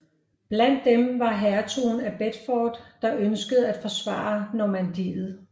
Blandt dem var hertugen af Bedford der ønskede at forsvare Normandiet